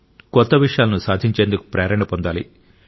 కొత్త విషయాలను సాధించేందుకు ప్రేరణ పొందాలి